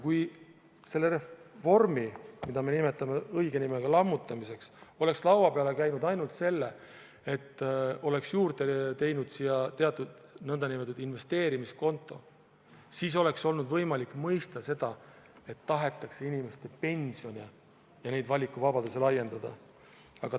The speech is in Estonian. Kui see reform, mida me nimetame õige nimega lammutamiseks, oleks laua peale käinud ainult selle, et oleks juurde tehtud sinna teatud nn investeerimiskonto, siis oleks olnud võimalik mõista seda, et tahetakse inimeste pensioniga seotud valikuvabadusi laiendada.